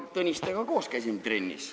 Tõnistega koos käisime trennis.